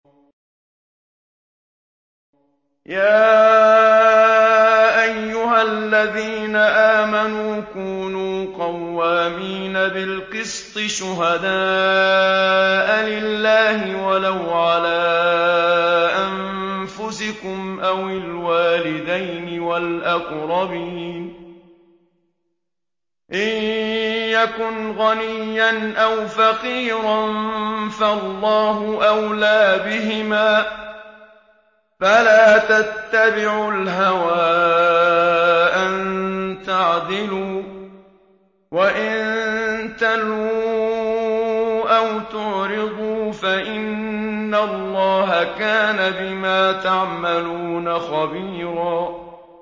۞ يَا أَيُّهَا الَّذِينَ آمَنُوا كُونُوا قَوَّامِينَ بِالْقِسْطِ شُهَدَاءَ لِلَّهِ وَلَوْ عَلَىٰ أَنفُسِكُمْ أَوِ الْوَالِدَيْنِ وَالْأَقْرَبِينَ ۚ إِن يَكُنْ غَنِيًّا أَوْ فَقِيرًا فَاللَّهُ أَوْلَىٰ بِهِمَا ۖ فَلَا تَتَّبِعُوا الْهَوَىٰ أَن تَعْدِلُوا ۚ وَإِن تَلْوُوا أَوْ تُعْرِضُوا فَإِنَّ اللَّهَ كَانَ بِمَا تَعْمَلُونَ خَبِيرًا